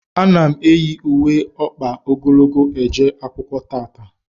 A na m eyi ùwé ọkpa ogologo eje akwụkwọ tata